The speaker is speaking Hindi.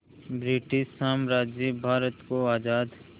ब्रिटिश साम्राज्य भारत को आज़ाद